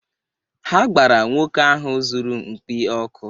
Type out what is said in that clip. Ha gbara nwoke ahụ zụrụ mkpi ọkụ.